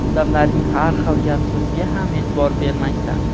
odamlarning har xil gap-so‘ziga ham e’tibor bermaysan.